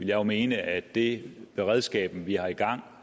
jo mene at det beredskab vi har i gang